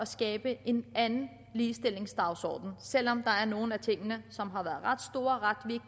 skabe en anden ligestillingsdagsorden selv om der er nogle af tingene som har været ret store ret